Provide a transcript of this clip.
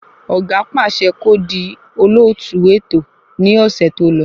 Ọ̀gá pàṣẹ kó di olóòtú ètò ní ọ̀sẹ̀ tó lọ